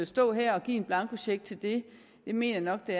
stå her og give en blankocheck til det det mener jeg